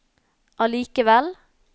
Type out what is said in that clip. allikevel